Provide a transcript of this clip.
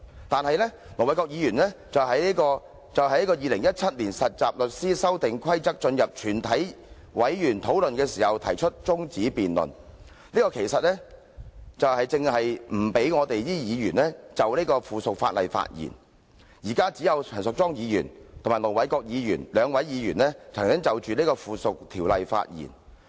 但是，盧議員卻在本會辯論有關察悉《〈2017年實習律師規則〉公告》的議案時，動議將辯論中止待續，此舉正正是不讓議員就有關附屬法例發言——只有陳淑莊議員和盧議員兩位議員曾就該附屬法例發言。